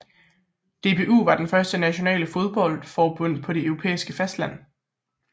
DBU var det første nationale fodboldforbund på det europæiske fastland